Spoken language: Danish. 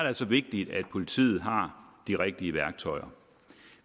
altså vigtigt at politiet har de rigtige værktøjer